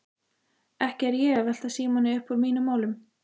Ekki er ég að velta Símoni uppúr mínum málum.